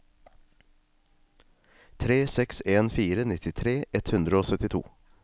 tre seks en fire nittitre ett hundre og syttito